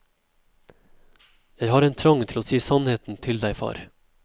Jeg har en trang til å si sannheten til deg, far.